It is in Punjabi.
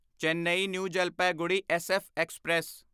Chennai new Jalpaiguri SF express